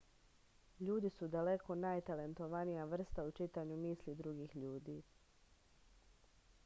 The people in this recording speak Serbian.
ljudi su daleko najtalentovanija vrsta u čitanju misli drugih ljudi